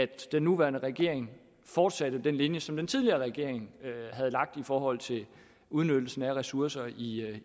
den nuværende regering fortsatte den linje som den tidligere regering havde lagt i forhold til udnyttelsen af ressourcer i